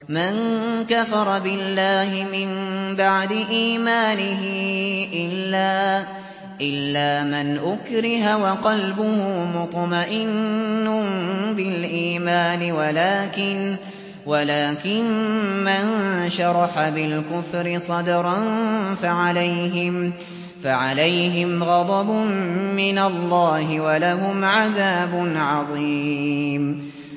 مَن كَفَرَ بِاللَّهِ مِن بَعْدِ إِيمَانِهِ إِلَّا مَنْ أُكْرِهَ وَقَلْبُهُ مُطْمَئِنٌّ بِالْإِيمَانِ وَلَٰكِن مَّن شَرَحَ بِالْكُفْرِ صَدْرًا فَعَلَيْهِمْ غَضَبٌ مِّنَ اللَّهِ وَلَهُمْ عَذَابٌ عَظِيمٌ